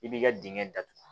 I b'i ka dingɛ datugu